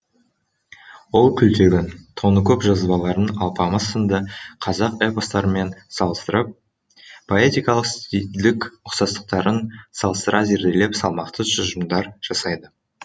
ол күлтегін тоныкөк жазбаларын алпамыс сынды қазақ эпостарымен салыстырып поэтикалық стильдік ұқсастықтарын салыстыра зерделеп салмақты тұжырымдар жасайды